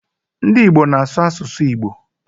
Ndị Igbo na-asụ asụsụ Igbo.